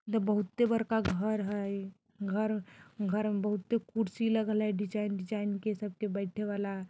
इ ते बहुते बड़का घर हई घर-घर में बहुते कुर्सी लगल हई डिज़ाइन - डिज़ाइन के सबके बैठे वला।